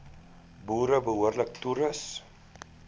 boere behoorlik toerus